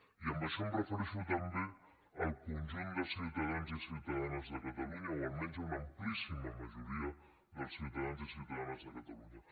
i amb això em refereixo també al conjunt de ciutadans i ciutadanes de catalunya o almenys a un amplíssima majoria dels ciutadans i ciutadanes de catalunya